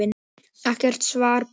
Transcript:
Ekkert svar barst.